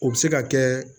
O bɛ se ka kɛ